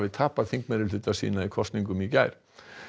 tapaði þingmeirihluta sínum í kosningum í gær